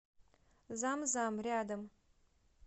зам зам рядом